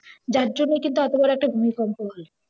যার জন্যই কিন্তু এতো বড় একটা ভুমিকম্প হল।